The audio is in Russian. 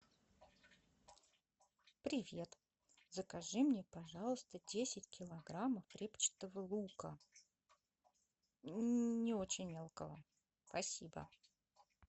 привет закажи мне пожалуйста десять килограммов репчатого лука не очень мелкого спасибо